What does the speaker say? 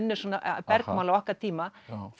er svona bergmál af okkar tíma